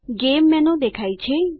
game menu દેખાય છે